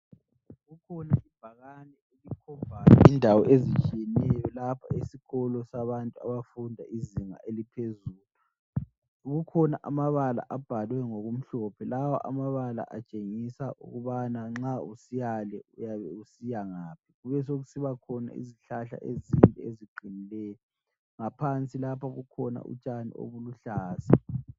Kukhona ibhakane elikhombayo indawo ezitshiyeneyo lapha esikolo sabantu abafunda izinga eliphezulu. Kukhona amabala abhalwe ngokumhlophe, lawa amabala atshengisa ukubana nxa usiyale uyabe usiyangaphi. Kubesokusibakhona izihlahla ezinde eziqinileyo, ngaphansi lapha kukhona utshani obuluhlaza.